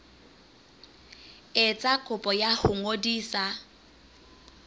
etsa kopo ya ho ngodisa